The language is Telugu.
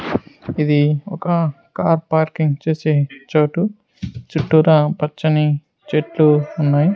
ఇది ఒక కార్ పార్కింగ్ చేసే చోటు చుట్టూరా పచ్చని చెట్లు ఉన్నాయి.